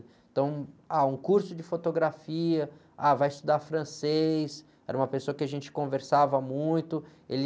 Então, ah, um curso de fotografia, ah, vai estudar francês, era uma pessoa que a gente conversava muito, ele...